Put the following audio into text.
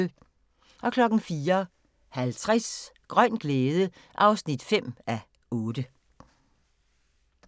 04:50: Grøn glæde (5:8)